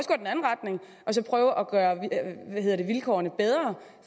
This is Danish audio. så prøve at gøre vilkårene bedre